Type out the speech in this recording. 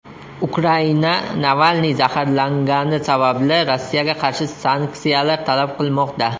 Ukraina Navalniy zaharlangani sababli Rossiyaga qarshi sanksiyalar talab qilmoqda.